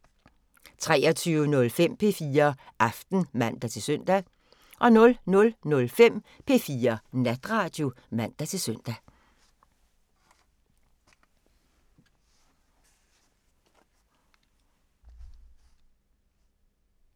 23:05: P4 Aften (man-søn) 00:05: P4 Natradio (man-søn)